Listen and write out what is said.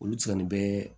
Olu cɛnin bɛ